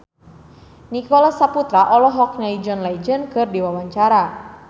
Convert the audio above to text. Nicholas Saputra olohok ningali John Legend keur diwawancara